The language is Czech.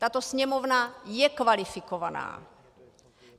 Tato Sněmovna je kvalifikovaná.